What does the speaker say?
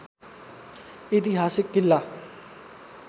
ऐतिहासिक किल्ला